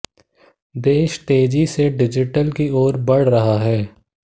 देश तेजी से डिजिटल की ओर बढ़ रहा है